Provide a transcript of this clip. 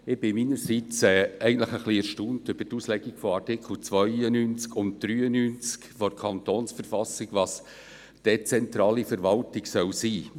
Ich bin persönlich ein wenig erstaunt über die Auslegung von Artikel 92 und 93 KV, dahingehend, was dezentrale Verwaltung sein soll.